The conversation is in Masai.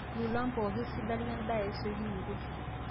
lolan pooki sidan lendaa esiokinoto